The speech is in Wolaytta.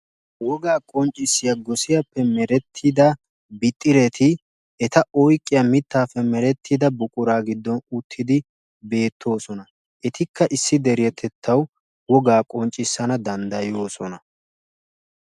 wogaa qonccissiya misiliyaaappe merettida bixxireti eta oyqqiya mitaappe merettida buquraa giddon uttidi beetoosona. etikka isi deretettawu wogaa qonccisanawu danddayoosona.